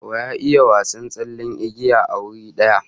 Wa ya iya wasan tsallen igiya a wuri daya?